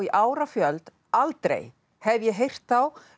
árafjöld aldrei hef ég heyrt þá